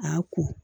A y'a ko